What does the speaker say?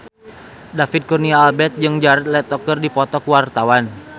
David Kurnia Albert jeung Jared Leto keur dipoto ku wartawan